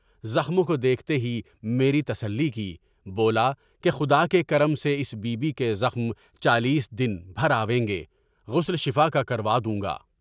زخموں کو دیکھتے ہی میرے تسلی کی، بولا کہ خدا کے کرم سے اس بی بی کے زخم چالیس دن بھر آئیں گے، غسل شفا کا کروا دوں گا۔